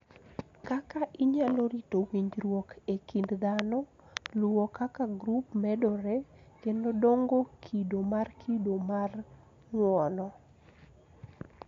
Kaka inyalo rito winjruok e kind dhano, luwo kaka grup medore, kendo dongo kido mar kido mar ng'uono.